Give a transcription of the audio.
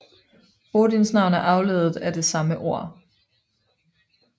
Odins navn er afledet af det samme ord